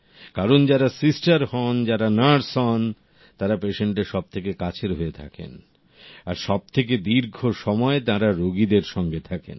কারণ যারা সিস্টার হন যারা নার্স হন তারা পেশেন্টের সবথেকে কাছের হয়ে থাকেন আর সব থেকে দীর্ঘ সময় তাঁরা রোগীদের সঙ্গে থাকেন